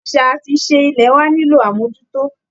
Àṣà àti ìṣe ilẹ̀ wá nílò àmójútó